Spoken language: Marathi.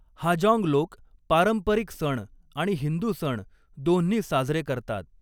हाजॉन्ग लोक पारंपरिक सण आणि हिंदू सण, दोन्ही साजरे करतात.